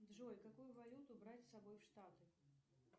джой какую валюту брать с собой в штаты